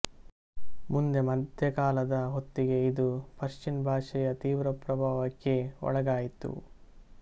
ಮುಂದೆ ಮಧ್ಯಕಾಲದ ಹೊತ್ತಿಗೆ ಇದು ಪರ್ಷಿಯನ್ ಭಾಷೆಯ ತೀವ್ರ ಪ್ರಭಾವಕ್ಕೆ ಒಳಗಾಯಿತು